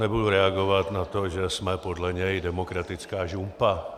Nebudu reagovat na to, že jsme podle něj demokratická žumpa.